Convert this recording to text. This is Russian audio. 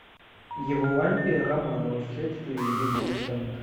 евлампия романова следствие ведет дилетант